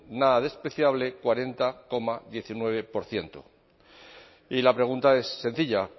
nada despreciable cuarenta coma diecinueve por ciento y la pregunta es sencilla